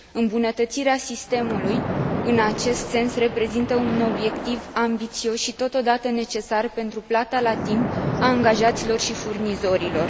Îmbunătățirea sistemului în acest sens reprezintă un obiectiv ambițios și totodată necesar pentru plata la timp a angajaților și furnizorilor.